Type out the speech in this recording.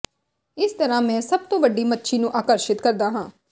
ਇਸ ਤਰ੍ਹਾਂ ਮੈਂ ਸਭ ਤੋਂ ਵੱਡੀ ਮੱਛੀ ਨੂੰ ਆਕਰਸ਼ਿਤ ਕਰਦਾ ਹਾਂ